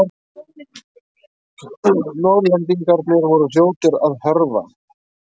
Norðlendingarnir voru fljótir að hörfa.